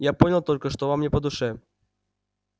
я понял только что вам не по душе